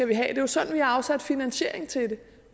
det er jo sådan vi har afsat finansiering til det